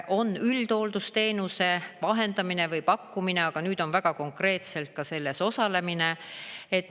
On üldhooldusteenuse vahendamine või pakkumine, aga nüüd on väga konkreetselt ka selles osalemine.